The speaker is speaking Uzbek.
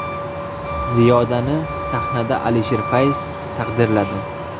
Ziyodani sahnada Alisher Fayz taqdirladi.